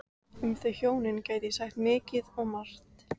Um þau hjónin gæti ég sagt mikið og margt.